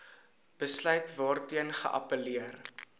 besluit waarteen geappelleer